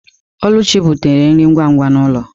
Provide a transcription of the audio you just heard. Oluchi butere nri ngwa ngwa n'ulo.